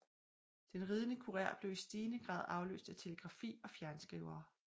Den ridende kurér blev i stigende grad afløst af telegrafi og fjernskrivere